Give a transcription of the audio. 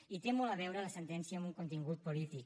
i té molt a veure la sentència amb un contingut polític